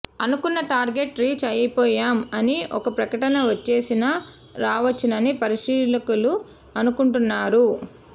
అనుకున్న target reach అయిపోయాం అని ఒక ప్రకటన వచ్చేసినా రావచ్చునని పరిశీలకులు అనుకుంటున్నారు